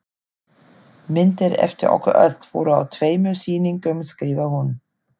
Myndir eftir okkur öll voru á tveimur sýningum skrifar hún.